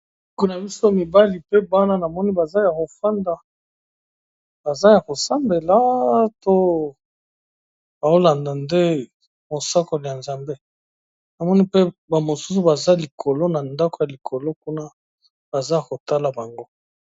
Ko na biso mibali pe bana namoni baza ya kofanda baza ya ko sambela to bao landa nde mosakoli ya nzambe, namoni pe ba mosusu baza likolo na ndako ya likolo kuna baza ko tala bango.